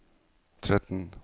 tretten